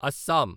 Assam